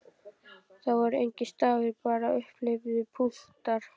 Það voru engir stafir, bara upphleyptir punktar!